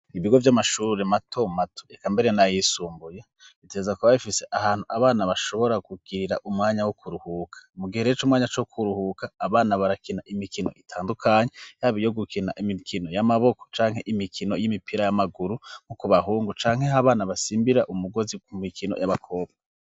Ibigo by'amashuri mato mato ekambere na yisumbuye ritegeza ku ba bifise ahantu abana bashobora kugirira umwanya wo kuruhuka mugihe rece umwanya co kuruhuka abana barakina imikino itandukanye yabi yo gukina imikino y'amaboko canke imikino y'imipira y'amaguru nko kubahungu canke aho abana basimbira umugozi ku mikino y'abakobwa.